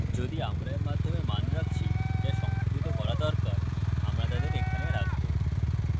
যদি আমরা এর মাধ্যমে মান রাখছি যা সংসাধিত করা দরকার আমরা তাদের এখানে রাখবো